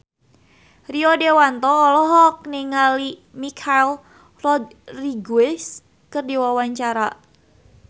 Rio Dewanto olohok ningali Michelle Rodriguez keur diwawancara